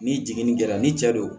Ni jiginni kɛra ni cɛ don